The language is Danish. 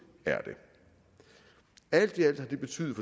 er det alt i alt har det betydet